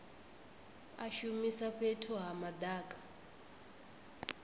a shumisa fhethu ha madaka